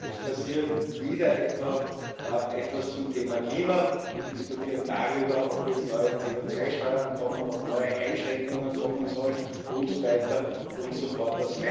Es passiert wieder etwas zum Thema Klima Wir diskutieren darüber, ob jetzt neue CO2 Steuern kommen, ob neue Einschränkungen kommen sollen und so weiter und so fort.